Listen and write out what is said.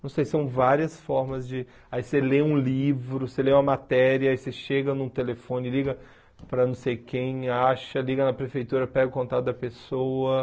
Não sei, são várias formas de... Aí você lê um livro, você lê uma matéria, aí você chega num telefone, liga para não sei quem, acha, liga na prefeitura, pega o contato da pessoa.